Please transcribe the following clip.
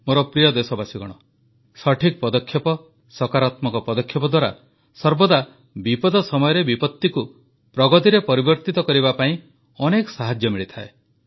ମୋର ପ୍ରିୟ ଦେଶବାସୀଗଣ ସଠିକ ପଦକ୍ଷେପ ସକାରାତ୍ମକ ପଦକ୍ଷେପ ଦ୍ୱାରା ସର୍ବଦା ବିପଦ ସମୟରେ ବିପତ୍ତିକୁ ପ୍ରଗତିରେ ପରିବର୍ତ୍ତିତ କରିବା ପାଇଁ ଅନେକ ସାହାଯ୍ୟ ମିଳିଥାଏ